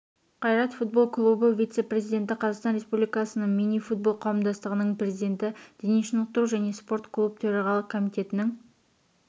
қайрат футбол клубы вице-президенті қазақстан республикасының мини-футбол қауымдастығының президенті дене шынықтыру және спорт клубы төрағалық комитетінің